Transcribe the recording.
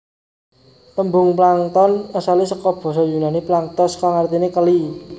Tembung plankton asale saka basa yunani planktos kang artine keli